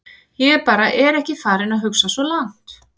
Ég bara er ekki farinn að hugsa svo langt.